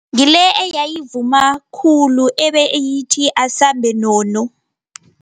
Ngile eyayivuma khulu ebeyithi asambe nono.